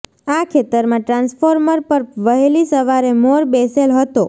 આ ખેતરમાં ટ્રાન્સફોર્મર પર વહેલી સવારે મોર બેસેલ હતો